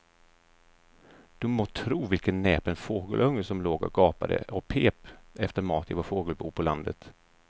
Du må tro vilken näpen fågelunge som låg och gapade och pep efter mat i vårt fågelbo på landet.